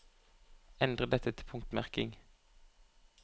Endre dette til punktmerking